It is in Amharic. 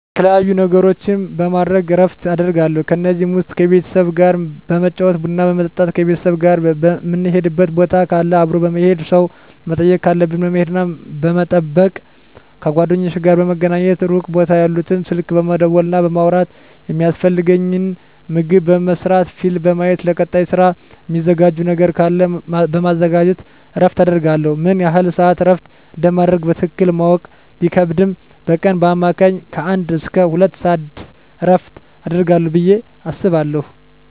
የተለያዩ ነገሮችን በማድረግ እረፍት አደርጋለሁ ከነዚህም ውስጥ ከቤተሰብ ጋር በመጫወት ቡና በመጠጣት ከቤተሰብ ጋር ምንሄድበት ቦታ ካለ አብሮ በመሄድ ሰው መጠየቅ ካለብን በመሄድና በመጠየቅ ከጓደኞቼ ጋር በመገናኘትና ሩቅ ቦታ ያሉትን ስልክ በመደወልና በማውራት የሚያስፈልገኝን ምግብ በመስራት ፊልም በማየት ለቀጣይ ስራ ሚዘጋጅ ነገር ካለ በማዘጋጀት እረፍት አደርጋለሁ። ምን ያህል ስዓት እረፍት እንደማደርግ በትክክል ማወቅ ቢከብድም በቀን በአማካኝ ከአንድ እስከ ሁለት ሰዓት እረፍት አደርጋለሁ ብየ አስባለሁ።